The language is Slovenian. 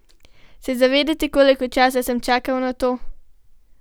Se zavedate, koliko časa sem čakal na to?